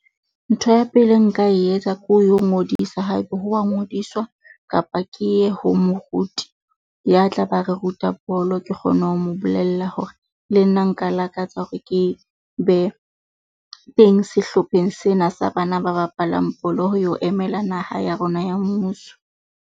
Ntho ya pele e nka e etsa ko yo ngodisa haebe ho wa ngodiswa, kapa ke ye ho moruti ya tla be a re ruta bolo. Ke kgone ho mo bolella hore le nna nka lakatsa hore ke be teng sehlopheng sena sa bana ba bapalang bolo. Ho yo emela naha ya rona ya mmuso.